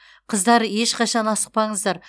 қыздар ешқашан асықпаңыздар